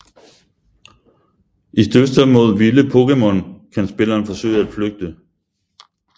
I dyster mod vilde Pokémon kan spilleren forsøge at flygte